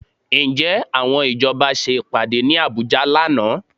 Ǹjẹ́ àwọn ìjọba ṣe ìpàdé ní Àbújá lánàá?